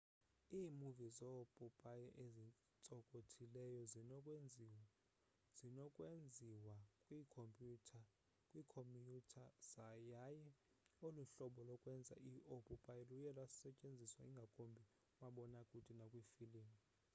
iimuvi zoopopayi ezintsokothileyo zinokwenziwa kwiikhomyutha yaye olu hlobo lokwenza oopopayi luye lusetyenziswa ngakumbi kumabonakude nakwiifilimu